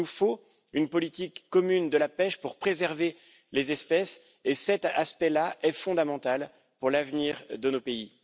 Il nous faut une politique commune de la pêche pour préserver les espèces et cet aspect là est fondamental pour l'avenir de nos pays.